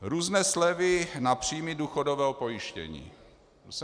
Různé slevy na příjmy důchodového pojištění.